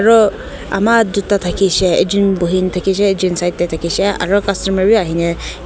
aru ama duita thakisey ekjon bhuina thakisey ekjon side tae thakisey aru customer vi ahine.